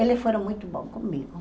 Eles foram muito bons comigo.